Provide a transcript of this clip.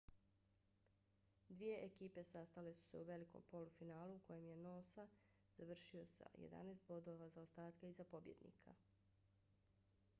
dvije ekipe sastale su se u velikom polufinalu u kojem je noosa završio sa 11 bodova zaostatka iza pobjednika